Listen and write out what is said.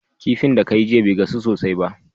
Kifin da kayi jiya be gasu sosai ba